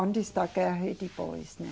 Antes da guerra e depois, né.